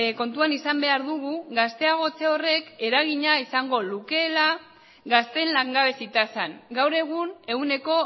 kontuan izan behar dugu gazteagotze horrek eragina izango lukeela gazteen langabezi tasan gaur egun ehuneko